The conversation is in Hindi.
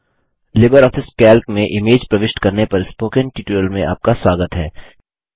लिबर ऑफिस कैल्क में इमेज प्रविष्ट करने पर स्पोकन ट्यूटोरियल में आपका स्वागत है